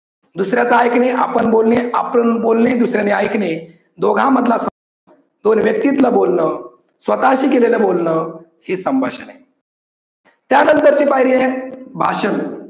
दुसऱ्याच ऐकणे आपण बोलणे, आपण बोलणे दुसऱ्याने ऐकणे दोघा मधला संवाद, दोन व्यक्तितल बोलन स्वतः शी केलेलं बोलन हे संभाषण आहे. त्या नंतर ची पायरी आहे भाषण.